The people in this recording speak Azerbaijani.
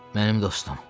Mənim dostum.